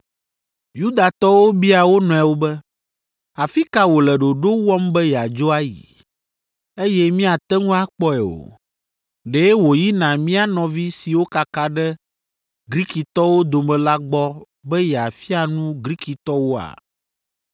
Yudatɔwo bia wo nɔewo be, “Afi ka wòle ɖoɖo wɔm be yeadzo ayi, eye míate ŋu akpɔe o? Ɖe wòyina mía nɔvi siwo kaka ɖe Grikitɔwo dome la gbɔ be yeafia nu Grikitɔwoa?